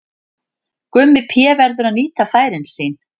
Gummi Pé verður að nýta færin sín!